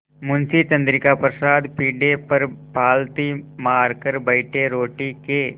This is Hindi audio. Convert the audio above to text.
मुंशी चंद्रिका प्रसाद पीढ़े पर पालथी मारकर बैठे रोटी के